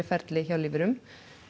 ferli hjá lífverum